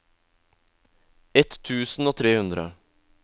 ett tusen og tre hundre